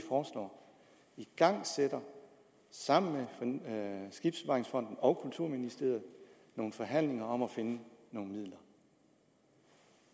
igangsætter sammen med skibsbevaringsfonden og kulturministeriet nogle forhandlinger om at finde nogle midler